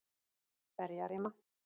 Berjarima